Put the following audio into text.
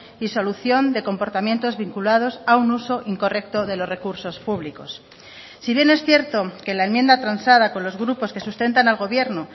y solución de comportamientos vinculados a un uso incorrecto de los recursos públicos si bien es cierto que la enmienda transada con los grupos que sustentan al gobierno